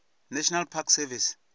national park service